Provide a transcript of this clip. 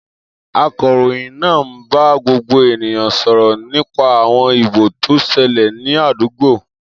Akọ̀ròyìn naa n ba gbogbo eniyan soro nipa awon ibon to sele ni adugbo.